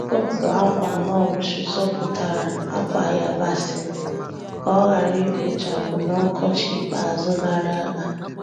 Otu akwa mulch zọpụtara akwa yabasị m ka ọ ghara ikpochapụ na Okochi ikpeazụgara aga.